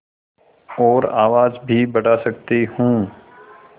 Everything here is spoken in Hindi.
और आवाज़ भी बढ़ा सकती हूँ